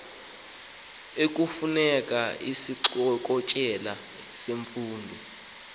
ekufuneka isixokelelwano semfundo